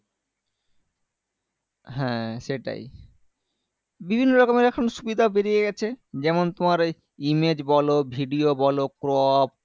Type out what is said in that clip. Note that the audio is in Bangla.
হ্যাঁ সেটাই বিভিন্ন ধরণের এখন সুবিধা বেরিয়ে গেছে যেমন তোমার এই image বলো video বলো crop